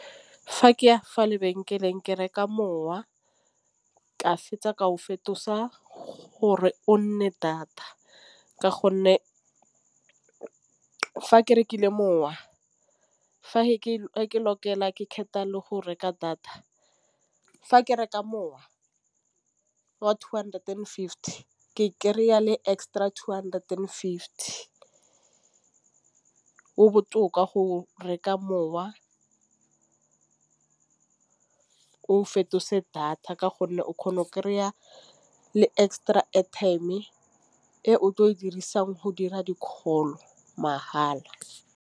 Fa ke ya fa lebenkeleng ke reka mowa ka fetsa ka go fetisa gore o nne data ka gonne fa ke rekile mowa, fa ke lokela ke kgetha le go reka data fa ke reka mowa wa two hundred and fifty ke kry-a le extra two hundred and fifty. Go botoka go reka mowa o fetise data ka gonne o kgona go kry-a le extra airtime e o tle o dirisang go dira di-call mahala.